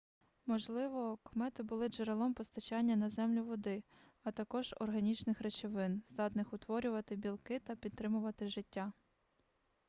можливо комети були джерелом постачання на землю води а також органічних речовин здатних утворювати білки та підтримувати життя